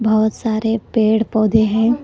बहुत सारे पेड़ पौधे हैं।